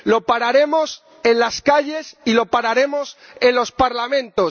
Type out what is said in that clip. Lo pararemos en las calles y lo pararemos en los Parlamentos.